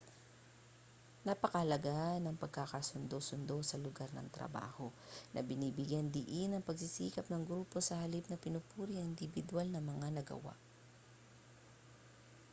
napakahalaga ng pagkakasundo-sundo sa lugar ng trabaho na binibigyang-diin ang pagsisikap ng grupo sa halip na pinupuri ang indibidwal na mga nagawa